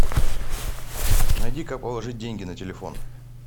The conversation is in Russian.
найди как положить деньги на телефон